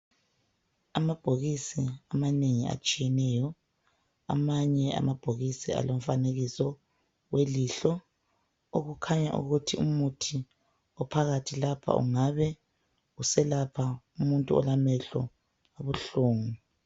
Amabhokisi amanengi atshiyeneyo, amanye amabhokisi alomfanekisi welihlo, okukhanya ukuthi umuthi ophakathi lapha ungabe uselapha umuntu olamehlo abuhlungu.